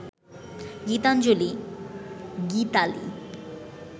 Gitanjali, Gitali